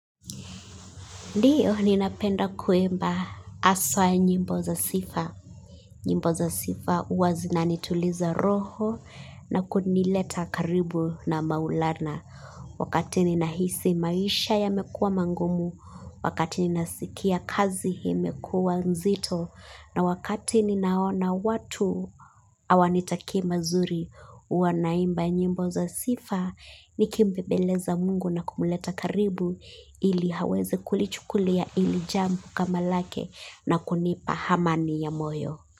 Ndiyo ninapenda kuimba haswaa nyimbo za sifa. Nyimbo za sifa hua zinanituliza roho na kunileta karibu na maulana. Wakati ninahisi maisha ya mekua mangumu, wakati ninasikia kazi ya imekua nzito. Na wakati ninaona watu hawanitakii mazuri huwa naimba nyimbo za sifa ni kimbebeleza mungu na kumleta karibu ili aweze kulichukulia ili jambo kama lake na kunipa amani ya moyo.